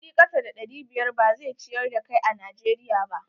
Kuɗi kasa da ɗari biyar ba zai ciyar da kai a Najeriya ba.